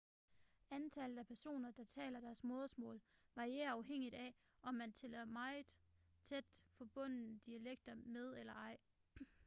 antallet af personer der taler deres modersmål varierer afhængigt af om man tæller meget tæt forbundne dialekter med eller ej